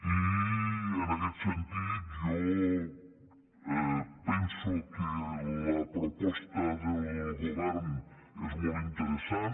i en aquest sentit jo penso que la proposta del govern és molt interessant